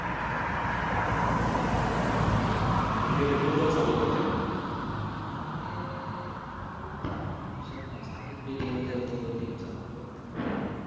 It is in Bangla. তো BPL এ কোন দল support করতেন? আগে করতাম, কোনো হিসাব নাই। সাকিব যে team খেলতো ওই team support করতাম।